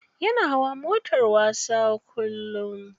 Yana hawa motar wasa kullum.